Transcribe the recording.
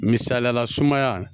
Misaliyala sumaya